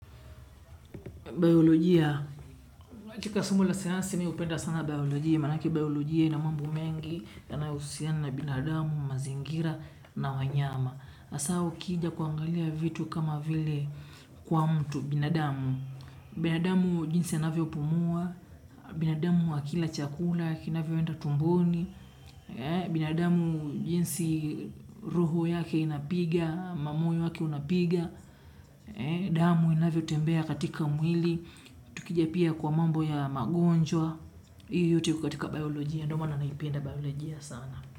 Biolojia, katika somo la sayansi me hupenda sana biolojia, manake biolojia ina mambo mengi yanayohusiana na binadamu, mazingira na wanyama. Hasa ukija kuangalia vitu kama vile kwa mtu binadamu. Binadamu jinsi anavyopumua, binadamu akila chakula kinavyoenda tumboni binadamu jinsi roho yake inapiga, ama moyo wake unapiga. Damu inavyo tembea katika mwili tukichapia kwa mambo ya magonjwa hiyo yote iko katika biolojia ndo maana naipenda biolojia sana.